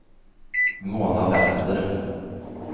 Mona Wester